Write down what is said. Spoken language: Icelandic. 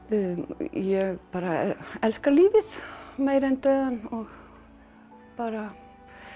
ég bara elska lífið meira en dauðann og bara